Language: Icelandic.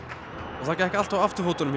það gekk allt á afturfótunum hjá